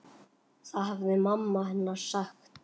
Það hafði mamma hennar sagt.